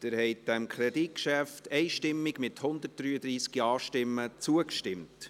Sie haben diesem Kreditgeschäft einstimmig zugestimmt, mit 133 Ja- gegen 0 Nein-Stimmen bei 0 Enthaltungen.